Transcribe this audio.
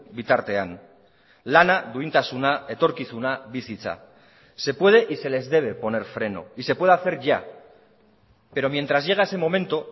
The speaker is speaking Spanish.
bitartean lana duintasuna etorkizuna bizitza se puede y se les debe poner freno y se puede hacer ya pero mientras llega ese momento